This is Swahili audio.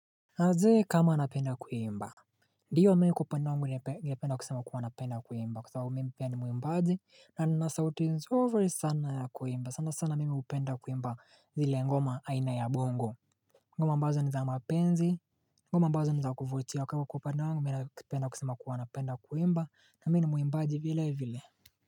Je kama anapenda kuimba ndiyo mimi kwa upande wangu ningependa kusema kuwa napenda kuimba kwa sababu mimi pia ni mwimbaji na nina sauti nzuri sana ya kuimba sana sana mimi hupenda kuimba zile ngoma aina ya bongo ngoma ambazo ni za mapenzi, ngoma ambazo ni za kuvutia kwa hivyo kwa kupenda wangu mimi ninapenda kusema kuwa napenda kuimba na mimi mwimbaji vile vile.